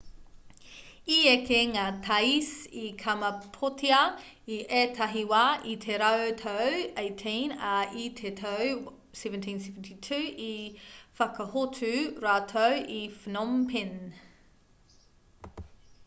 i eke ngā thais i kamapōtia i ētahi wā i te rautau 18 ā i te tau 1772 i whakahotu rātou i phnom phen